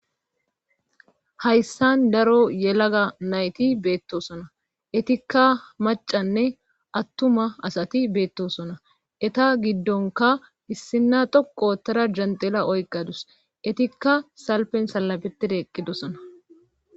Hayssan daro yelaga nayti beettosona etikka macanne attuma asati beettosona eta giddonka issina toqotara janxela oyqadus etikka salpen salabetide eqqidosona